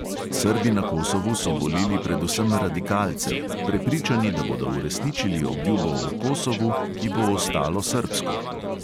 Srbi na kosovu so volili predvsem radikalce, prepričani, da bodo uresničili obljubo o kosovu, ki bo ostalo srbsko.